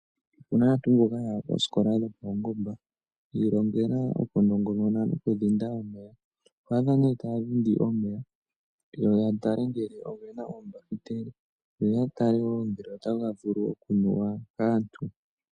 Opuna aantu mbono yaya koosikola dhopaungomba yi ilongela okudhinda omeya. Oto adha ihe taya dhindi omeya yo yatale ngele otaga vulu okunuwa kaantu.